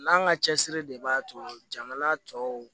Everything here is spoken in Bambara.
N'an ka cɛsiri de b'a to jamana tɔw